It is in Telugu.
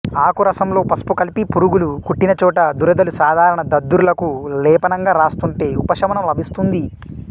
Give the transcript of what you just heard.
ఆకు రసంలో పసుపు కలిపి పురుగులు కుట్టినచోట దురదలు సాధారణ దద్దుర్లకు లేపనంగా రాస్తుంటే ఉపశమనం లభిస్తుంది